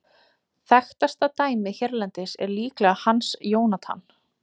Þekktasta dæmið hérlendis er líklega Hans Jónatan.